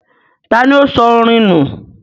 tani ó sọ orìn nù?